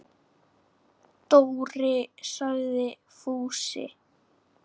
Dóri! sagði Fúsi.